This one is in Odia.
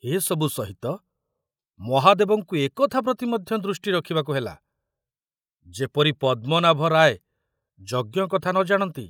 ଏସବୁ ସହିତ ମହାଦେବଙ୍କୁ ଏକଥା ପ୍ରତି ମଧ୍ୟ ଦୃଷ୍ଟି ରଖୁବାକୁ ହେଲା ଯେପରି ପଦ୍ମନାଭ ରାୟ ଯଜ୍ଞ କଥା ନ ଜାଣନ୍ତି।